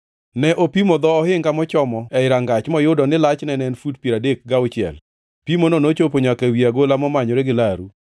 Ne opimo dho ohinga mochomo ei rangach moyudo ni lachne en fut piero adek gauchiel. Pimono nochopo nyaka ewi agola momanyore gi laru.